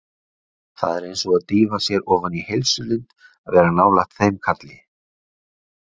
Það er eins og að dýfa sér ofan í heilsulind að vera nálægt þeim kalli.